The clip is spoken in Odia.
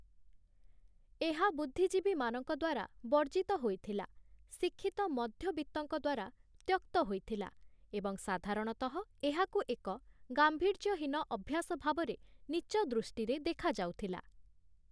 ଏହା ବୁଦ୍ଧିଜୀବୀମାନଙ୍କ ଦ୍ୱାରା ବର୍ଜିତ ହୋଇଥିଲା, ଶିକ୍ଷିତ ମଧ୍ୟବିତ୍ତଙ୍କ ଦ୍ୱାରା ତ୍ୟକ୍ତ ହୋଇଥିଲା ଏବଂ ସାଧାରଣତଃ ଏହାକୁ ଏକ ଗାମ୍ଭୀର୍ଯ୍ୟହୀନ ଅଭ୍ୟାସ ଭାବରେ ନୀଚଦୃଷ୍ଟିରେ ଦେଖାଯାଉଥିଲା ।